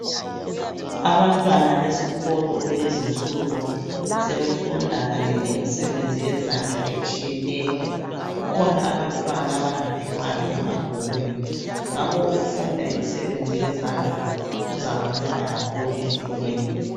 Abantwana besikolo kulezinsuku, sebefunda kanye lemisebenzi yezandla etshiyeneyo. Kukhona abantwana abangaphiwanga emabhukwini ngakho ukufunda imisebenzi yezandla kuzabanceda kakhulu empilweni.